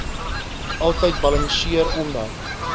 altyd balanseer omdat